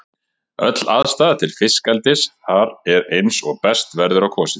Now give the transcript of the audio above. Öll aðstaða til fiskeldis þar er eins og best verður á kosið.